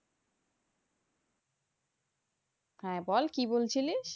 হ্যাঁ বল কি বলছিলি?